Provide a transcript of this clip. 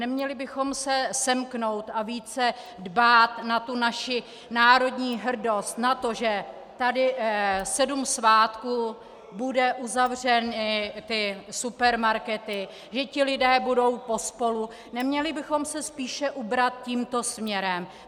Neměli bychom se semknout a více dbát na tu naši národní hrdost, na to, že tady sedm svátků budou uzavřeny ty supermarkety, že ti lidé budou pospolu, neměli bychom se spíše ubrat tímto směrem?